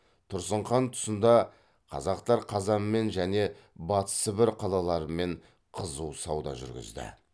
тұрсын хан тұсында қазақтар қазанмен және батыс сібір қалаларымен қызу сауда жүргізді